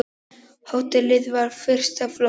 Hótelið var fyrsta flokks.